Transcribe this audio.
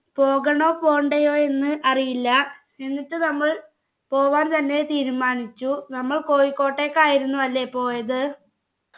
പോകണോ പോണ്ടയോ എന്ന് അറിയില്ല എന്നിട്ട് നമ്മൾ പോവാൻ തന്നെ തീരുമാനിച്ചു നമ്മൾ കോഴിക്കോട്ടേക്കായിരുന്നു അല്ലെ പോയത്